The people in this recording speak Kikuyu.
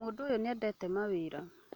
Mũndũũyũnĩendete mwarĩwe